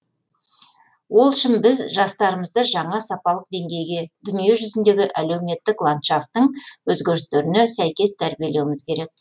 ол үшін біз жастарымызды жаңа сапалық деңгейге дүние жүзіндегі әлеуметтік ландфшафттың өзгерістеріне сәйкес тәрбиелеуіміз керек